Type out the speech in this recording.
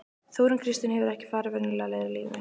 Þórunn Kristín hefur ekki farið venjulegar leiðir í lífinu.